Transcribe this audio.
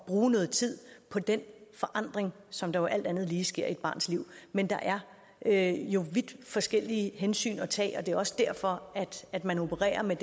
bruge noget tid på den forandring som der jo alt andet lige sker i et barns liv men der er er jo vidt forskellige hensyn at tage og det er også derfor at man opererer med